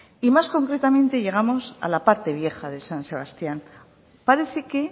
y más concretamente llegamos a la parte vieja de san sebastián parece que